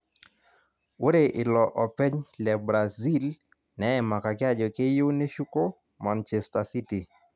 Ore ilo openy le Brasil neimakaki ajo keyieu neshuko Manchester City